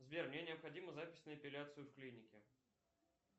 сбер мне необходима запись на эпиляцию в клинике